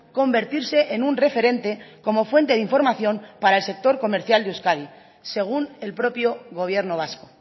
convertirse en un referente como fuente de información para el sector comercial de euskadi según el propio gobierno vasco